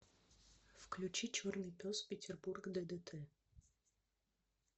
включи черный пес петербург ддт